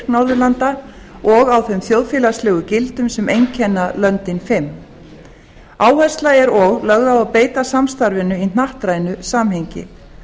norðurlanda og á þeim þjóðfélagslegu gildum sem einkenna löndin fimm áhersla er og lögð á að beita samstarfinu í hnattrænu samhengi